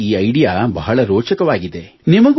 ಇವರ ಈ ಐಡಿಯಾ ಬಹಳ ರೋಚಕವಾಗಿದೆ